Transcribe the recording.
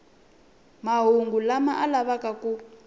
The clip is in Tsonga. mahungu lama a lavaka ku